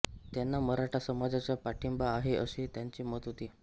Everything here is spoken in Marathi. त्यांना मराठा समाजाचा पाठिंबा आहे असे त्यांचे मत होते